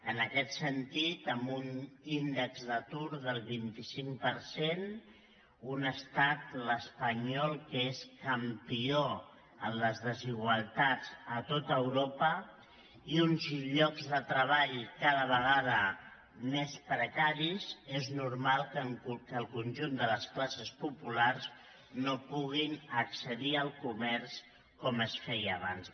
en aquest sentit amb un índex d’atur del vint cinc per cent un estat l’espanyol que és campió en les desigualtats a tot europa i uns llocs de treball cada vegada més precaris és normal que el conjunt de les classes populars no puguin accedir al comerç com es feia abans